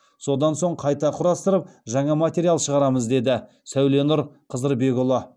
содан соң қайта құрастырып жаңа материал шығарамыз деді сәуленұр қызырбекұлы